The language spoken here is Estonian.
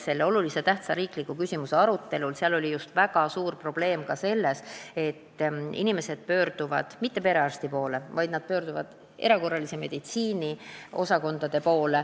Sellel olulise tähtsusega riikliku küsimuse arutelul nähti väga suurt probleemi ka selles, et inimesed ei pöördu mitte perearsti poole, vaid erakorralise meditsiini osakonda.